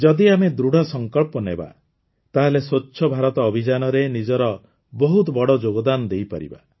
ଯଦି ଆମେ ଦୃଢ଼ସଂକଳ୍ପ ନେବା ତାହେଲେ ସ୍ୱଚ୍ଛ ଭାରତ ଅଭିଯାନରେ ନିଜର ବହୁତ ବଡ଼ ଯୋଗଦାନ ଦେଇପାରିବା